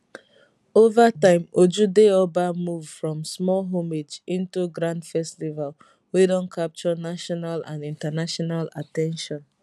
over time ojude oba move from small homage into grand festival wey don capture national and international at ten tion